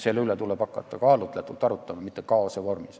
Selle üle tuleb hakata arutama kaalutletult, mitte kaose vormis.